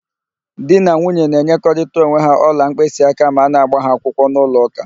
Di na nwunye na-enyerịkọta onwe ha ọla mkpịsịaka ma a na-ágbà ha akwụkwọ n'ụlọụka